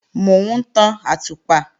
Mò ń tan àtùpà